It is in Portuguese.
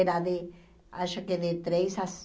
Era de, acho que de três às